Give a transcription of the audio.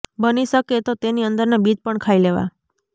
બની શકે તો તેની અંદરના બીજ પણ ખાઈ લેવા